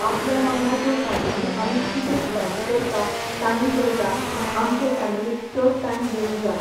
आपल्या वांगडा ज्यो फेमिली आमी कितें स्पेंड करता, टायम करता, आमचे फेमिलीक चड टायम दिवूंक जाय.